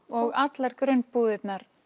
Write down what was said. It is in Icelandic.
og allar grunnbúðir